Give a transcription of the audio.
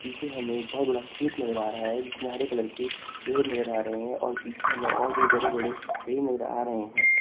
पीछे हमें एक बहोत बड़ा खेत नजर आ रहा है जिसमें हरे कलर की पेड़ नजर आ रहे हैं और पीछे हमें और भी बड़े बड़े पेड़ नजर आ रहे हैं।